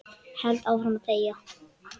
Held áfram að þegja.